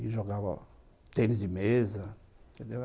e jogava tênis de mesa, entendeu?